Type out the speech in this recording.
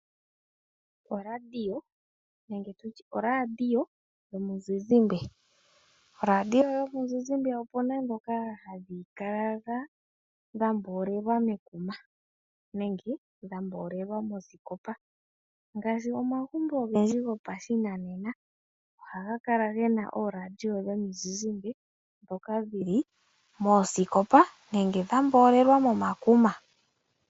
Oradio nenge tutye ooradio yomuzizimbe. Ooradio dhomizizimbe opena dhoka hadhi kala dhamboolelwa mekuma nenge dhamboolelwa moosikopa. Ngaashi omagumbo ogendji gopashinanena ohaga kala gena ooradio dhomizizimbe dhoka dhili moosikopa nenge dhamboolelwa momakuma.